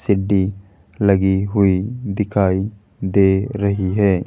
सिढी लगी हुई दिखाई दे रही है।